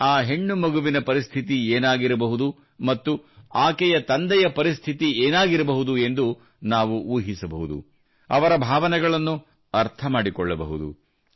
ಆ ಹೆಣ್ಣು ಮಗುವಿನ ಪರಿಸ್ಥಿತಿ ಏನಾಗಿರಬಹುದು ಮತ್ತು ಆಕೆಯ ತಂದೆಯ ಪರಿಸ್ಥಿತಿ ಏನಾಗಿರಬಹುದು ಎಂದು ನಾವು ಊಹಿಸಬಹುದು ಅವರ ಭಾವನೆಗಳನ್ನು ಅರ್ಥ ಮಾಡಿಕೊಳ್ಳಬಹುದು